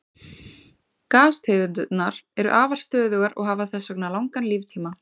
Gastegundirnar eru afar stöðugar og hafa þess vegna langan líftíma.